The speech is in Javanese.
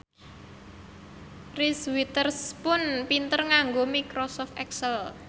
Reese Witherspoon pinter nganggo microsoft excel